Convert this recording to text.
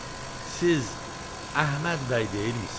Siz Əhməd bəy deyilmisiniz?